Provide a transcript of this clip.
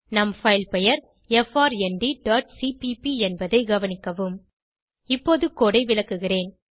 நம் பைல் பெயர் frndசிபிபி என்பதை கவனிக்கவும் இப்போது கோடு ஐ விளக்குகிறேன்